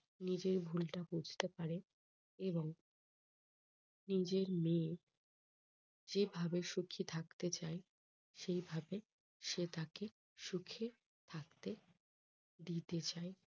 নিজের ভুলটা বুজতে পারে এবং নিজের মেয়ে যেভাবে খুশি থাকতে চায় সেইভাবে সে তাকে সুখে থাকতে দিতে চায়।